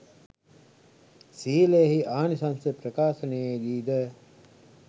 ශීලයෙහි ආනිශංස ප්‍රකාශනයේ දී ද